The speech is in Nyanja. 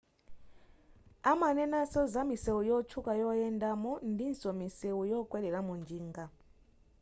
amanenaso za misewu yotchuka yoyendamo ndinso misewu yokwereramo njinga